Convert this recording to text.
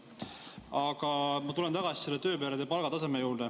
Aga ma tulen tagasi selle tööperede palgataseme juurde.